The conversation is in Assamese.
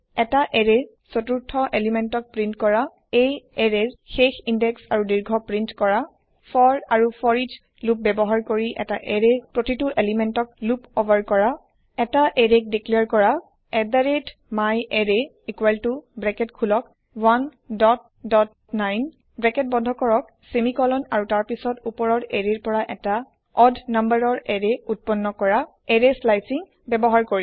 এই এৰেয়ৰ চতুৰ্থ পদাৰ্থক প্ৰীন্ট কৰা এই এৰেয়ৰ শেষ ইনদেক্স আৰু দীৰ্ঘক প্ৰীন্ট কৰা ফৰ আৰু ফৰ এচ লোপ ব্যৱহাৰ কৰি এটা এৰেয়ৰ প্ৰতিটো পদাৰ্থক লোপ উভাৰ কৰা এটা এৰেক বাখ্যা কৰা myArray ব্ৰেকেট খোলক 19 ব্ৰেকেট বন্ধ কৰক চেমিকলন আৰু তাৰ পাছত ওপৰৰ এৰেয়ৰ পৰা এটা অড নম্বৰৰ এৰেয় উৎপন্ন কৰা এৰেয় স্লাইচিং ব্যৱহাৰ কৰি